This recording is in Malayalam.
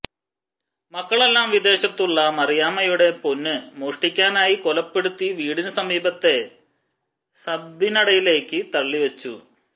മക്കളെല്ലാം വിദേശത്തുള്ള മറിയാമ്മയുടെ പൊന്ന് മോഷ്ടിക്കാനായി കൊലപ്പെടുത്തി വീടിന് സമീപത്തെ സഌബിനടിയിലേക്ക് തള്ളി വച്ചു